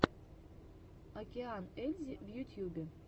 океан ельзи в ютьюбе